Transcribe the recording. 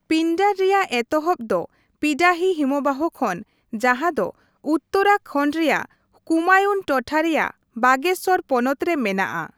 ᱯᱤᱱᱰᱟᱨ ᱨᱮᱭᱟᱜ ᱮᱛᱚᱦᱚᱵ ᱫᱚ ᱯᱤᱰᱟᱨᱤ ᱦᱤᱢᱚᱵᱟᱦᱚ ᱠᱷᱚᱱ ᱡᱟᱦᱟᱸ ᱫᱚ ᱩᱛᱛᱚᱨᱟᱠᱷᱚᱱᱰ ᱨᱮᱭᱟᱜ ᱠᱩᱢᱟᱭᱩᱱ ᱴᱚᱴᱷᱟ ᱨᱮᱭᱟᱜ ᱵᱟᱜᱮᱥᱥᱚᱨ ᱯᱚᱱᱚᱛ ᱨᱮ ᱢᱮᱱᱟᱜᱼᱟ ᱾